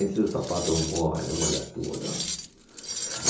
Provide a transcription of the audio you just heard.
Aí seu sapato molha, molha tudo. Ã